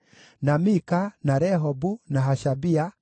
na Mika, na Rehobu, na Hashabia,